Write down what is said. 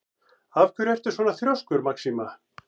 Af hverju ertu svona þrjóskur, Maxima?